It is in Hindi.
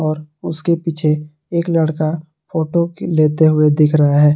और उसके पीछे एक लड़का फोटो लेते हुए दिख रहा है।